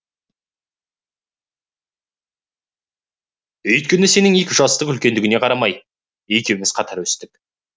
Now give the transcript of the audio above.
өйткені сенің екі жастық үлкендігіңе қарамай екеуміз қатар өстік